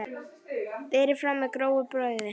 Berið fram með grófu brauði.